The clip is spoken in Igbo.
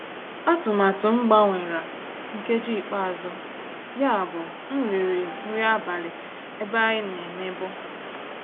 Àtụ̀màtụ́ m gbanwèrà nkèjí íkpe àzụ́, yábụ́ m rị́rị́ nrí àbálị́ n'èbé ànyị́ ná-èmèbú.